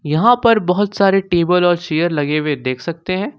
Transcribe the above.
यहां पर बहुत सारे टेबल और चेयर लगे हुए देख सकते हैं।